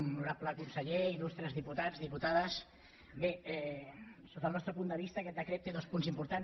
honorable conseller il·lustres diputats diputades bé sota el nostre punt de vista aquest decret té dos punts importants